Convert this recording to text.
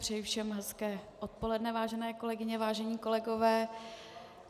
Přeji všem hezké odpoledne, vážené kolegyně, vážení kolegové.